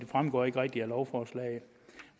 fremgår ikke rigtigt af lovforslaget